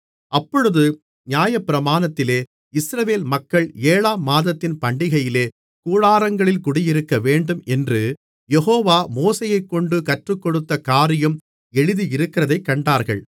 அப்பொழுது நியாயப்பிரமாணத்திலே இஸ்ரவேல் மக்கள் ஏழாம் மாதத்தின் பண்டிகையிலே கூடாரங்களில் குடியிருக்க வேண்டும் என்று யெகோவா மோசேயைக்கொண்டு கற்றுக்கொடுத்த காரியம் எழுதியிருக்கிறதைக் கண்டார்கள்